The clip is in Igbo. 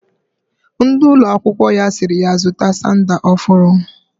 Ndi ulo akwukwo ya siri ya zuta sandal ofuru